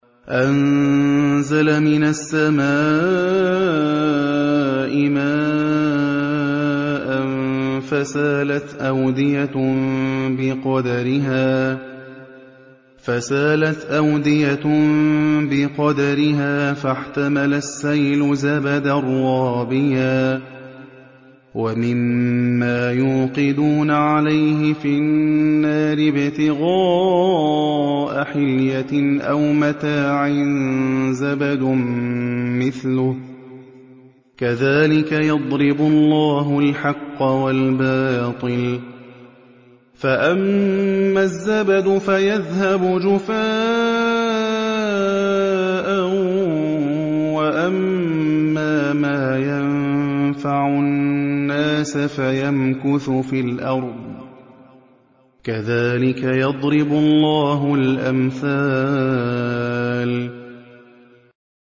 أَنزَلَ مِنَ السَّمَاءِ مَاءً فَسَالَتْ أَوْدِيَةٌ بِقَدَرِهَا فَاحْتَمَلَ السَّيْلُ زَبَدًا رَّابِيًا ۚ وَمِمَّا يُوقِدُونَ عَلَيْهِ فِي النَّارِ ابْتِغَاءَ حِلْيَةٍ أَوْ مَتَاعٍ زَبَدٌ مِّثْلُهُ ۚ كَذَٰلِكَ يَضْرِبُ اللَّهُ الْحَقَّ وَالْبَاطِلَ ۚ فَأَمَّا الزَّبَدُ فَيَذْهَبُ جُفَاءً ۖ وَأَمَّا مَا يَنفَعُ النَّاسَ فَيَمْكُثُ فِي الْأَرْضِ ۚ كَذَٰلِكَ يَضْرِبُ اللَّهُ الْأَمْثَالَ